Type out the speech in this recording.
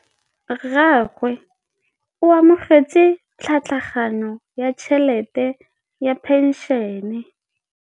Rragwe o amogetse tlhatlhaganyô ya tšhelête ya phenšene.